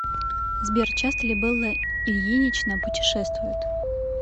сбер часто ли белла ильинична путешествует